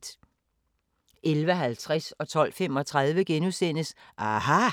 11:50: aHA! * 12:35: aHA!